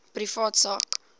privaat sak